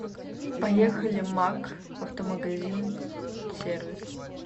поехали макк автомагазин сервис